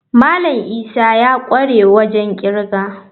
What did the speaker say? Malam Isa ya kware wajen kirga.